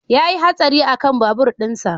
Ya yi hatsari akan babur ɗinsa